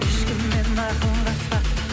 ешкіммен ақылдаспа